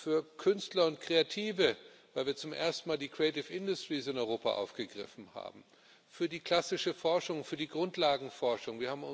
Für Künstler und Kreative, weil wir zum ersten Mal die creative industries in Europa aufgegriffen haben, für die klassische Forschung, für die Grundlagenforschung.